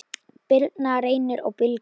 Birna, Reynir og Birgir.